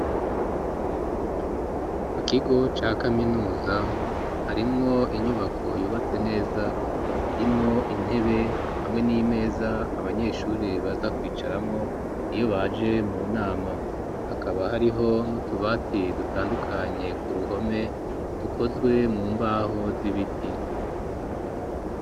Mu kigo ca kaminuza harimwo inyubako yubatse neza irimwo intebe hamwe n'imeza abanyesure baza kwicaramwo niyo baje mu nama hakaba hariho n'utubati dutandukanye ku ruhome tukozwe mu mbaho z'ibiti.